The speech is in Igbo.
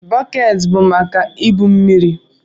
Bọket bu maka ibu mmiri.